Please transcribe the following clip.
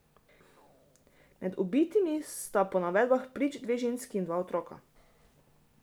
Med ubitimi sta po navedbah prič dve ženski in dva otroka.